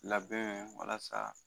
Labɛn walasa